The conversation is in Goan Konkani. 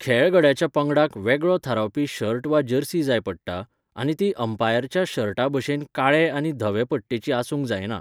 खेळगड्याच्या पंगडाक वेगळो थारावपी शर्ट वा जर्सी जाय पडटा, आनी ती अंपायरच्या शर्टाभशेन काळॆ आनी धवे पट्टेची आसूंक जायना.